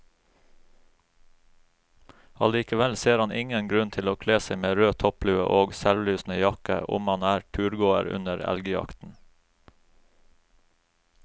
Allikevel ser han ingen grunn til å kle seg med rød topplue og selvlysende jakke om man er turgåer under elgjakten.